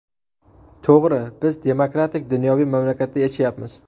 To‘g‘ri, biz demokratik-dunyoviy mamlakatda yashayapmiz.